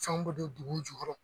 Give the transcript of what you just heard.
Fɛn bɛɛ be don o jukɔrɔ